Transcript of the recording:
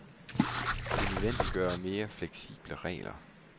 Det nødvendiggør mere fleksible regler.